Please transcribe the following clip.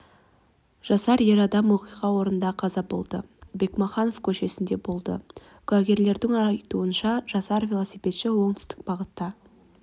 жасар ер адам оқиға орнында қаза болды бекмаханов көшесінде болды куәгерлердің айтуынша жасар велосипедші оңтүстік бағытта